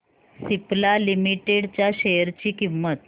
Cipla limited च्या share ची किंमत